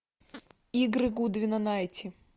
игры гудвина найти